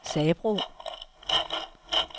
Sabro